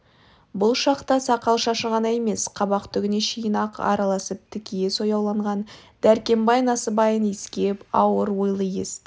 бұл шақта сақал-шашы ғана емес қабақ түгіне шейін ақ араласып тікие сояуланған дәркембай насыбайын иіскеп ауыр ойлы есті